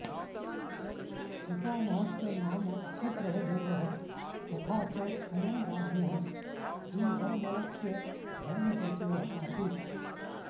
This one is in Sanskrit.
पितामहस्य नाम सुप्रभदेवः तथा च अयं राज्ञः श्रीवर्मलस्य धर्मसचिवः आसीत्